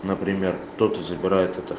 например кто-то забирает это